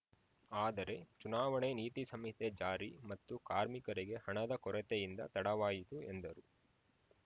ಆದರೆ ಚುನಾವಣೆ ನೀತಿ ಸಂಹಿತೆ ಜಾರಿ ಮತ್ತು ಕಾರ್ಮಿಕರಿಗೆ ಹಣದ ಕೊರತೆಯಿಂದ ತಡವಾಯಿತು ಎಂದರು